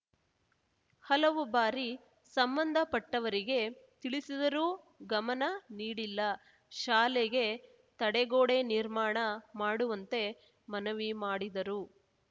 ಹಲವು ಬಾರಿ ಸಂಬಂಧಪಟ್ಟವರಿಗೆ ತಿಳಿಸಿದರೂ ಗಮನ ನೀಡಿಲ್ಲ ಶಾಲೆಗೆ ತಡೆಗೋಡೆ ನಿರ್ಮಾಣ ಮಾಡುವಂತೆ ಮನವಿ ಮಾಡಿದರು